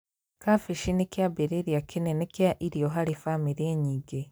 Kambĩji nĩ kĩambĩrĩrĩa kĩnene kĩa irio harĩ bamĩri nyingĩ